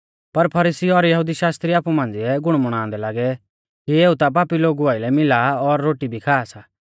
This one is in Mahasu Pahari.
पर फरीसी और यहुदी शास्त्रिउ आपु मांझ़िऐ गुणमुणांदै लागै कि एऊ ता पापी लोगु आइलै मिला और रोटी भी खा सा